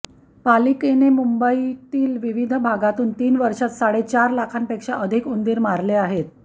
पालिकेने मुंबईतील विविध भागांतून तीन वर्षांत साडेचार लाखांपेक्षा अधिक उंदीर मारले आहेत